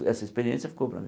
Essa experiência ficou para mim.